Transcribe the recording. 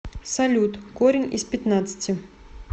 салют корень из пятнадцати